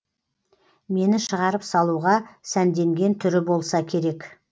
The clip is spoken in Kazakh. мені шығарып салуға сәнденген түрі болса керек